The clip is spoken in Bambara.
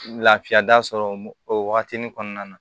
Lafiya da sɔrɔ o wagatinin kɔnɔna na